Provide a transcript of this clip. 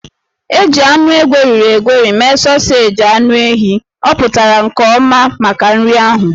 E ji anụ egweriri egweri mee sọọseji anụ ehi, ọ pụtara nke ọma maka nri. ahụ